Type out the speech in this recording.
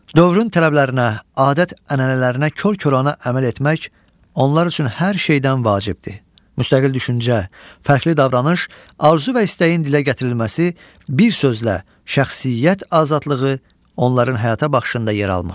Dövrün tələblərinə, adət-ənənələrinə kor-koranə əməl etmək, onlar üçün hər şeydən vacibdir, müstəqil düşüncə, fərqli davranış, arzu və istəyin dilə gətirilməsi, bir sözlə, şəxsiyyət azadlığı onların həyata baxışında yer almır.